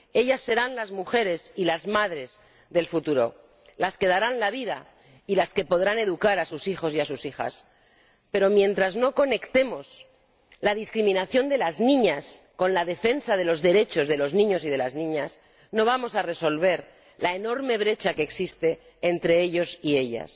Ellas serán las mujeres y las madres del futuro, las que darán la vida y las que podrán educar a sus hijos y a sus hijas. Pero, mientras no conectemos la discriminación de las niñas con la defensa de los derechos de los niños y de las niñas, no vamos a resolver la enorme brecha que existe entre ellos y ellas.